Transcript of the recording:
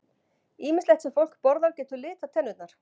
Ýmislegt sem fólk borðar getur litað tennurnar.